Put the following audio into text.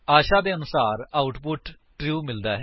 ਆਸ਼ਾ ਦੇ ਅਨੁਸਾਰ output true ਹੈ